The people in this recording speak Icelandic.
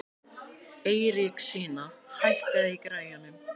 Eiríksína, hækkaðu í græjunum.